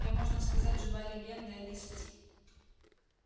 я можно сказать живая легенда этой сети